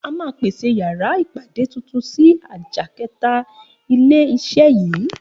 A máà pèsè yàrá ìpàdé titun síi àjà kẹta ilé iṣé yii